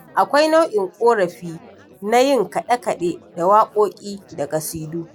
Akwai nau'in ƙorafi na yin kaɗe-kaɗe da waƙoƙi da ƙasidu.